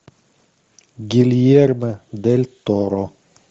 гильермо дель торо